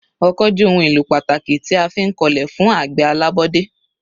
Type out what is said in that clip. Ọkọ́ jẹ́ ohun èlò pàtàkì tí a fi ń kọlẹ̀ fún àgbẹ̀ alábọ́dé.